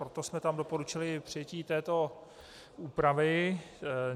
Proto jsme tam doporučili přijetí této úpravy.